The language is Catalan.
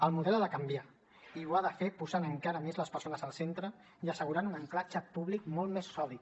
el model ha de canviar i ho ha de fer posant encara més les persones al centre i assegurant un ancoratge públic molt més sòlid